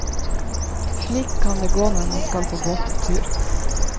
Slik kan det gå når man skal på båttur.